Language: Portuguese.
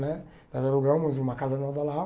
Né? Nós alugamos uma casa no Alto da Lapa.